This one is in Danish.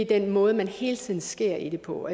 den måde man hele tiden skærer i det på